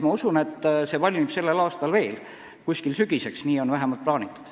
Ma usun, et kogumik valmib veel sellel aastal, kuskil sügiseks – nii on vähemalt plaanitud.